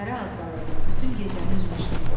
Səhərə az qalırdı, bütün gecəni üzmüşdü.